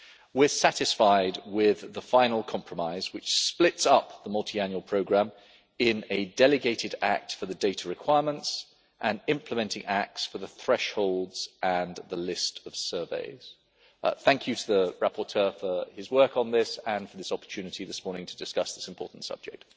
We are satisfied with the final compromise, which splits up the multiannual programme in a delegated act for the data requirements and implementing acts for the thresholds and the list of surveys. Thank you to the rapporteur for his work on this and for the opportunity this morning to discuss this important subject.